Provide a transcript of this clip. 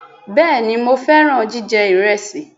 Bẹẹni Mo fẹran jijẹ iresi